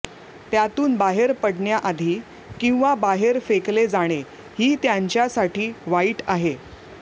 त्यातून बाहेर पडण्याआधी किंवा बाहेर फेकले जाणे ही त्यांच्यासाठी वाईट आहे